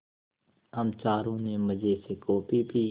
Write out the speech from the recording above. हम चारों ने मज़े से कॉफ़ी पी